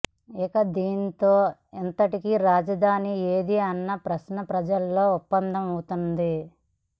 ఇక దీంతో ఇంతకీ రాజధాని ఏది అన్న ప్రశ్న ప్రజల్లో ఉత్పన్నమవుతుంది